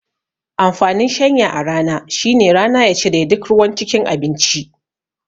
Amfanin shanya a rana shine rana ya cire duk ruwan cikin abinci